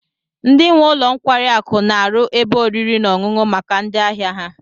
Ndi nwe ụlọ nkwari akụ n'aru ebe oriri n'oṅuṅụ maka ndi ahia ha